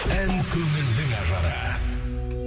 ән көңілдің ажары